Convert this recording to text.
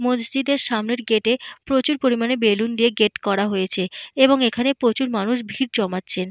মসজিদের সামনের গেট এ প্রচুর পরিমানের বেলুন দিয়ে গেট করা হয়েছে এবং এখানে প্রচুর মানুষ ভিড় জমাচ্ছেন।